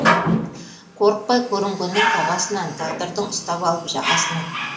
қорықпай көрінгеннің табасынан тағдырдың ұстап алып жағасынан